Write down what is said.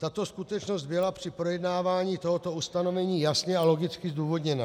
Tato skutečnost byla při projednávání tohoto ustanovení jasně a logicky zdůvodněna.